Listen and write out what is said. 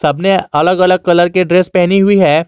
हमने अलग अलग कलर के ड्रेस पहनी हुई है।